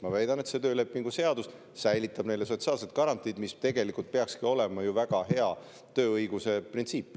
Ma väidan, et see töölepingu seadus säilitab neile sotsiaalsed garantiid, mis tegelikult peakski olema väga hea tööõiguse printsiip.